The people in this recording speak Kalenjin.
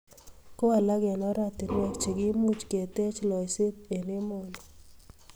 Ko alak eng oratinweek chekimuch keteech loiseet eng emoni.